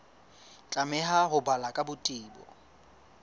tlameha ho balwa ka botebo